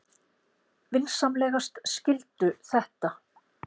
Vinsamlegast skildu þetta.